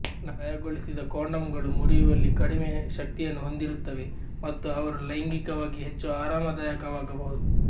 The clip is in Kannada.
ನಯಗೊಳಿಸಿದ ಕಾಂಡೋಮ್ಗಳು ಮುರಿಯುವಲ್ಲಿ ಕಡಿಮೆ ಶಕ್ತಿಯನ್ನು ಹೊಂದಿರುತ್ತವೆ ಮತ್ತು ಅವರು ಲೈಂಗಿಕವಾಗಿ ಹೆಚ್ಚು ಆರಾಮದಾಯಕವಾಗಬಹುದು